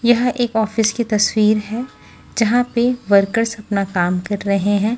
यह एक ऑफिस की तस्वीर है जहां पे वर्कर्स अपना काम कर रहे हैं।